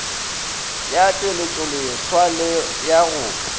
ya tšweletšoleswa le ya go